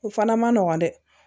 U fana ma nɔgɔn dɛ